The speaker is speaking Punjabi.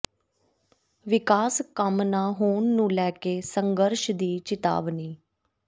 ਵਿਕਾਸ ਕੰਮ ਨਾ ਹੋਣ ਨੂੰ ਲੈ ਕੇ ਸੰਘਰਸ਼ ਦੀ ਚਿਤਾਵਨੀ